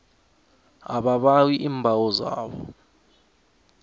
ababawi iimbawo zabo